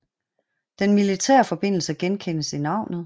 Den militære forbindelse genkendes i navnet